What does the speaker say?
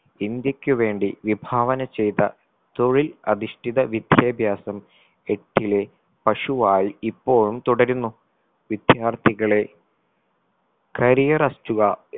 ഇന്ത്യക്കു വേണ്ടി വിഭാവന ചെയ്ത തൊഴിൽ അധിഷ്ഠിത വിദ്യാഭ്യാസം എത്തിലെ പശുവായി ഇപ്പോഴും തുടരുന്നു വിദ്യാർത്ഥികളെ career